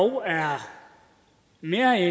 er mere